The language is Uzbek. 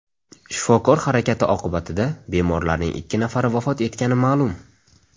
Shifokor harakati oqibatida bemorlarning ikki nafari vafot etgani ma’lum.